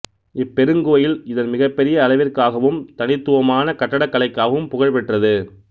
இப்பெருங்கோயில் இதன் மிகப்பெரிய அளவிற்காகவும் தனித்துவமான கட்டடக்கலைக்காகவும் புகழ் பெற்றது